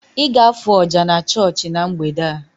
Ị ga-afụ oja na chọọchị na mgbede a?